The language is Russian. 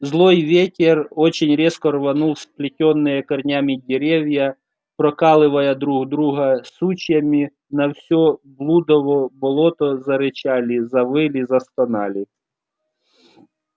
злой ветер очень резко рванул сплетённые корнями деревья прокалывая друг друга сучьями на всё блудово болото зарычали завыли застонали